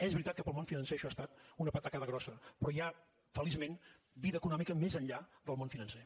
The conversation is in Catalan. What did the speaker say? és veritat que per al món financer això ha estat una patacada grossa però hi ha feliçment vida econòmica més enllà del món financer